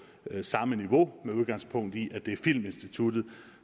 samme niveau med udgangspunkt i at det er filminstituttet